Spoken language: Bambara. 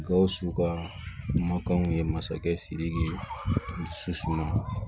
Gawusu ka kumakanw ye masakɛ sidiki dusu man